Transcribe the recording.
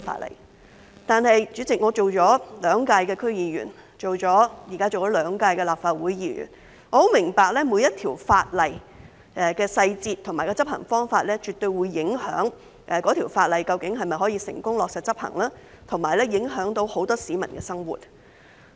不過，代理主席，我已當了兩屆區議員，現在也當了兩屆立法會議員，我很明白每項法例的細節和執行方法絕對會影響該法例能否成功落實執行，以及很多市民的生活。